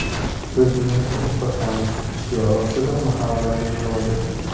Biz mehr ulashamiz!” shiori ostida mahallalarga yo‘l oldi.